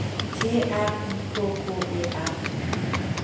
T R I K K E R